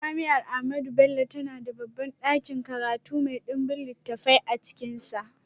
Jami’ar Ahmadu Bello tana da babban dakin karatu mai dimbin littafai a cikinsa.